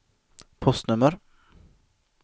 postnummer